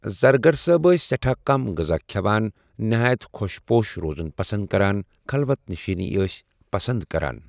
زرگر صأب أسؠ سیٹھاہ کم غذا کھیوان نہایت خوش پوش روزُن پسند کران خلوت نشینی أسؠ پسند کران.